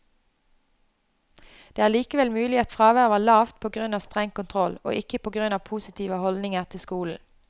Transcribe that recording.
Det er likevel mulig at fraværet var lavt på grunn av streng kontroll, og ikke på grunn av positive holdninger til skolen.